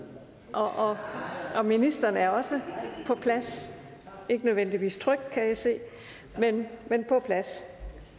og og ministeren er også på plads ikke nødvendigvis tryg kan jeg se men på plads